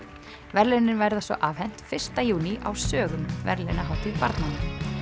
verðlaunin verða svo afhent fyrsta júní á sögum verðlaunahátíð barnanna